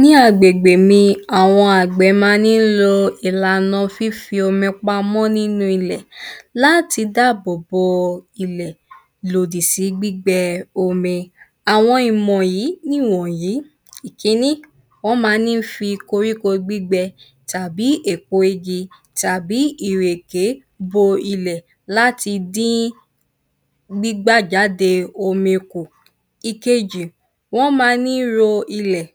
Ní agbègbè mi, àwọn àgbẹ̀ ma ní lo ìlàna fífi omi pamọ́ nínú ilẹ̀. Láti dábò bo ilẹ̀. Lòdì sí gbígbẹ omi. Àwọn ìmọ̀ yí nìwọ̀nyí: Ìkínní, wọ́n má ní fi koríko gbígbẹ tàbí èpo igi tàbí ìrèké bo ilẹ̀ láti dín gbígbàjáde omi kù. Ìkejì wọ́n ma ní ro ilẹ̀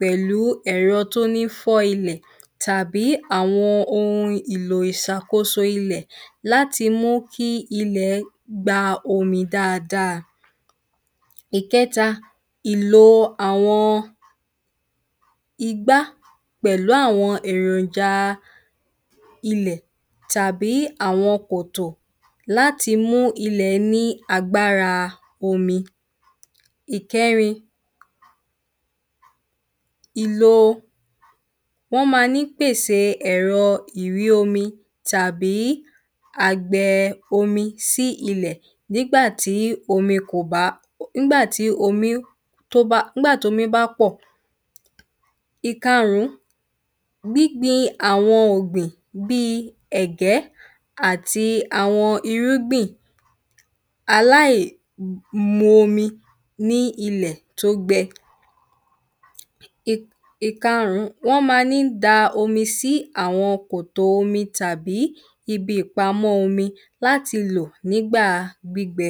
pẹlú ẹ̀rọ tó ní fọ́ ilẹ̀. Tàbí àwọn ohun ìlò ìsàkóso ilẹ̀. Láti mú kí ilẹ̀ gba omi dáadáa. Ìkẹ́ta, ìlo àwọn igbá pẹ̀lú àwọn èròjà ilẹ̀. Tàbí àwọn kòtò láti mú ilẹ̀ ní agbára omi. Ìkẹrin, ìlo wọ́n ma ní pèse ẹ̀rọ ìré omi tàbí àgbẹ omi sí ilẹ̀. Nígbà tí omi kò bam ńgbà tí omí tó bá ń gbà tómi bá pọ̀. Ìkarún, gbígbin àwọn ọ̀gbìn bíi ẹ̀gẹ́ àti àwọn irúgbìn. Aláìmu omi ní ilẹ̀ tí ó gbẹ. Ìkarún, wọ́n ma ní da omi sí àwọn kòtò omi. Tàbí ibi ìpamọ́ omi láti lò nígbà gbígbẹ.